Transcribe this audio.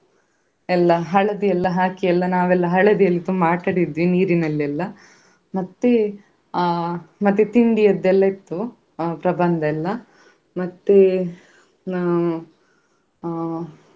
ಎಲ್ಲ ಹಳದಿ ಎಲ್ಲ ಹಾಕಿ ಎಲ್ಲ ನಾವೆಲ್ಲಾ ಹಳದಿಯಲ್ಲಿ ತುಂಬಾ ಆಟ ಆಡಿದ್ವಿ ನೀರಿನಲ್ಲೆಲ್ಲ ಮತ್ತೆ ಅಹ್ ಮತ್ತೆ ತಿಂಡಿಯದ್ದೆಲ್ಲಾ ಇತ್ತು ಅಹ್ ಪ್ರಬಂಧ ಎಲ್ಲ ಮತ್ತೆ ಅಹ್ ಅಹ್.